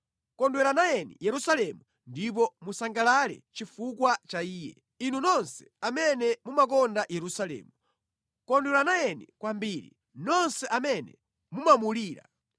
“Kondwera nayeni Yerusalemu ndipo musangalale chifukwa cha Iye, inu nonse amene mumakonda Yerusalemu, kondwera nayeni kwambiri, nonse amene mumamulira.